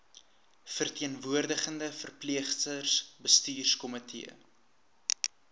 verteenwoordigende verpleegsters bestuurskomitee